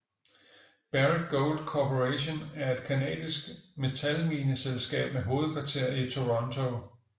Barrick Gold Corporation er et canadisk metalmineselskab med hovedkvarter i Toronto